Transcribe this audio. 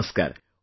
Namaskar